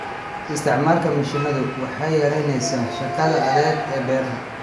Isticmaalka mishiinadu waxay yaraynaysaa shaqada adag ee beeraha.